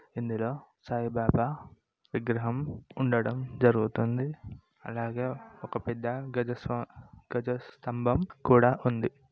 ఇందులో సాయి బాబా విగ్రహం ఉండడం జరుగుతుంది అలాగే ఒక పెద్ద గజ స్తం-గజ స్తంబం కూడా ఉంది.